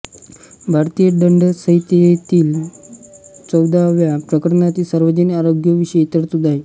भारतीय दंडसंहितेतील चवदाव्या प्रकरणात सार्वजनिक आरोग्याविषयी तरतुदी आहेत